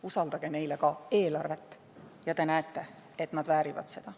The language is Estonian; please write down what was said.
Usaldage neile ka eelarve, ja te näete, et nad väärivad seda.